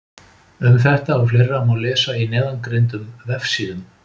Um þetta og fleira má lesa á neðangreindum vefsíðum.